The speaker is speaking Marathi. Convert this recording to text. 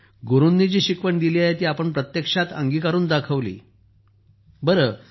गुरूंनी जी शिकवण दिली आहे ती आपण प्रत्यक्षात अंगीकारून दाखवली आहे जी